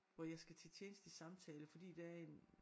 Hvor jeg skal til tjenestelig samtale fordi der er en